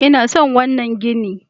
I na son wannan gini.